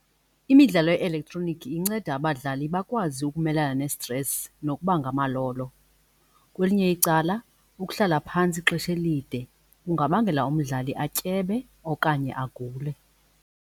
Imidlalo ye-elektroniki inceda abadlali bakwazi ukumelana ne-stress nokuba ngamalolo. Kwelinye icala ukuhlala phantsi ixesha elide kungabangela umdlali atyebe okanye agule.